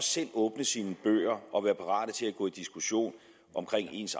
selv åbne sine bøger og være parat til at gå i diskussion omkring